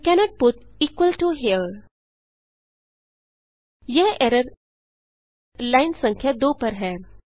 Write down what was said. you cannot put here यह error line संख्या 2 पर है